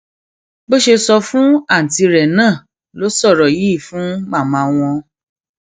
bó ṣe sọ fún àùntí rẹ náà ló sọrọ yìí fún màmá wọn